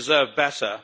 they deserve better.